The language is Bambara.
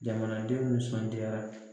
Jamanadenw nisɔndiyara